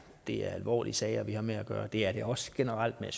det er alvorlige sager vi har med at gøre det er det også generelt men